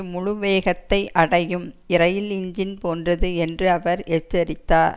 முழு வேகத்தை அடையும் இரயில் எஞ்சின் போன்றது என்று அவர் எச்சரித்தார்